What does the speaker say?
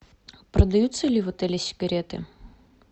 продаются ли в отеле сигареты